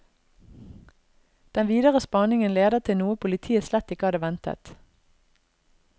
Den videre spaningen leder til noe politiet slett ikke hadde ventet.